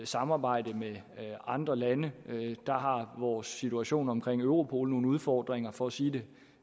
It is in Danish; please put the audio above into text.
samarbejde med andre lande der har vores situation omkring europol nogle udfordringer for at sige det